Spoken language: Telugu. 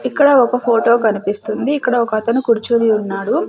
ఇక్కడ ఒక ఫోటో కనిపిస్తుంది ఇక్కడ ఒకతను కుర్చుని ఉన్నాడు.